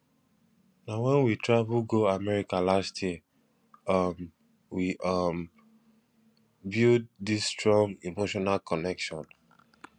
na wen we travel go america last year um we um build dis strong emotional connection